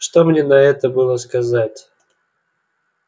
что мне на это было сказать